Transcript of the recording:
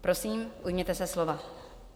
Prosím, ujměte se slova.